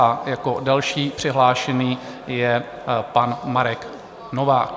A jako další přihlášený je pan Marek Novák.